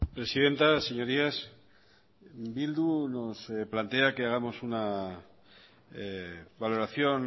presidenta señorías bildu nos plantea que hagamos una valoración